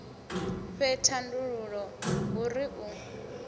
fhe thandululo hu ri u